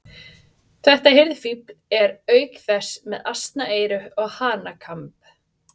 Þetta hirðfífl er auk þess með asnaeyru og hanakamb.